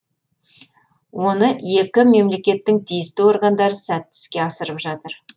оны екі мемлекеттің тиісті органдары сәтті іске асырып жатыр